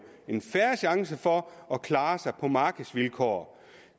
en fair chance for at klare sig på markedsvilkår